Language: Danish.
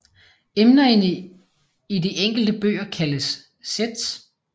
Emnerne i de enkelte bøger kaldes sets